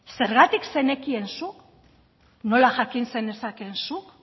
zergatik zenekien zuk nola jakin zenezakeen zuk